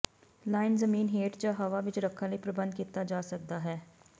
line ਜ਼ਮੀਨ ਹੇਠ ਜ ਹਵਾ ਵਿੱਚ ਰੱਖਣ ਲਈ ਪ੍ਰਬੰਧ ਕੀਤਾ ਜਾ ਸਕਦਾ ਹੈ